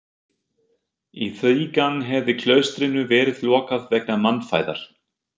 Í þrígang hefði klaustrinu verið lokað vegna mannfæðar.